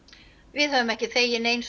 við höfum ekki þegið nein